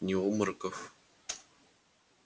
ни обмороков